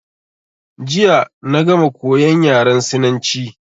Jiya na gama koyan yaran Sinanci.